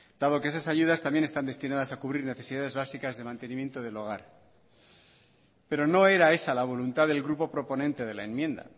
dado que esas ayudas también están destinadas a cubrir necesidades básicas de mantenimiento del hogar pero no era esa la voluntad del grupo proponente de la enmienda